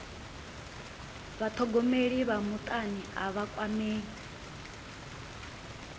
vhathogomeli vha mutani a vha kwamei